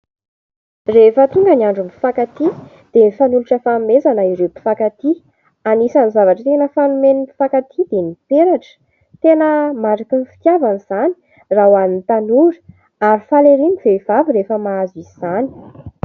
Rehefa tonga ny andron'ny mpifankatia dia mifanolotra fanomezana ireo mpifankatia, anisany zavatra tena fanomen'ny mpifankatia dia ny peratra, tena mariky ny fitiavana izany raha hoan'ny tanora ary faly ery ny vehivavy rehefa mahazo izany.